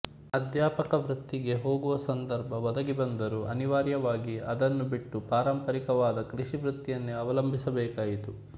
ಅಧ್ಯಾಪಕ ವೃತ್ತಿಗೆ ಹೋಗುವ ಸಂದರ್ಭ ಒದಗಿ ಬಂದರೂ ಅನಿವಾರ್ಯವಾಗಿ ಅದನ್ನು ಬಿಟ್ಟು ಪಾರಂಪರಿಕವಾದ ಕೃಷಿ ವೃತ್ತಿಯನ್ನೇ ಅವಲಂಬಿಸಬೇಕಾಯಿತು